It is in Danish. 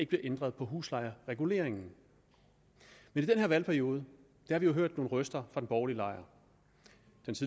bliver ændret på huslejereguleringen men i den her valgperiode har vi jo hørt nogle røster fra den borgerlige lejr